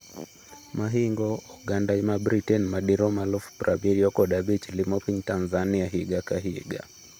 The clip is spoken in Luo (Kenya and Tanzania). Mahingo oganda ma Britain madirom aluf prabirio kod abich limo piny Tanzania higa ka higa.